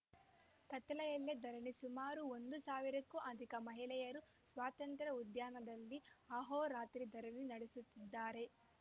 ಕತ್ತಲೆಯಲ್ಲೇ ಧರಣಿ ಸುಮಾರು ಒಂದು ಸಾವಿರಕ್ಕೂ ಅಧಿಕ ಮಹಿಳೆಯರು ಸ್ವಾತಂತ್ರ್ಯ ಉದ್ಯಾನದಲ್ಲಿ ಅಹೋರಾತ್ರಿ ಧರಣಿ ನಡೆಸುತ್ತಿದ್ದಾರೆ